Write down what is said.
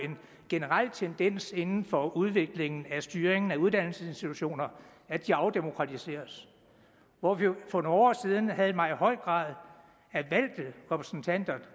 generel tendens inden for udviklingen af styringen af uddannelsesinstitutioner at de afdemokratiseres hvor vi for nogle år siden havde en meget høj grad af valgte repræsentanter